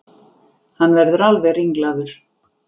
Hann verður alveg ringlaður.